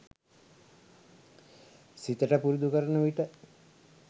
සිතට පුරුදු කරනවිට